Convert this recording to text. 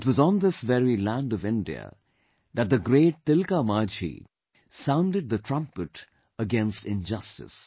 It was on this very land of India that the great Tilka Manjhi sounded the trumpet against injustice